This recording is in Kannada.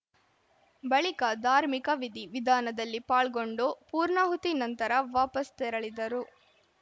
ಬಳಿಕ ಧಾರ್ಮಿಕ ವಿಧಿ ವಿಧಾನದಲ್ಲಿ ಪಾಲ್ಗೊಂಡು ಪೂರ್ಣಹುತಿ ನಂತರ ವಾಪಸ್‌ ತೆರಳಿದರು